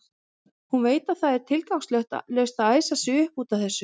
Hún veit að það er tilgangslaust að æsa sig upp út af þessu.